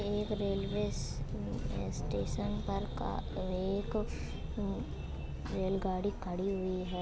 एक रेलवे श्श्श उम्म स्टे स्टेशन पर का एक उम्म रेलगाड़ी खड़ी हुई है।